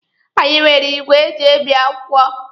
Anyị nwere igwe eji ebi akwụkwọ.